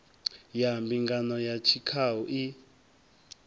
ya mbingano ya tshikhau i